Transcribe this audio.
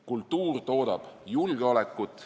Kultuur toodab julgeolekut.